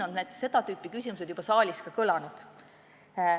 Siin on seda tüüpi küsimused juba saalis ka kõlanud.